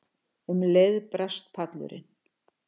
Um leið brast pallurinn.